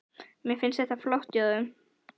Mér finnst þetta flott hjá þeim.